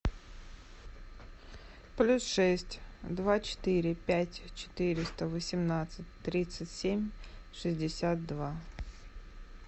плюс шесть два четыре пять четыреста восемнадцать тридцать семь шестьдесят два